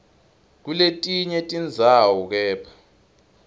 kuletinye tindzawo kepha